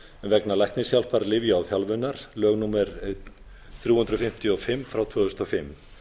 vegna læknishjálpar lyfja og þjálfunar lög númer þrjú hundruð fimmtíu og fimm tvö þúsund og fimm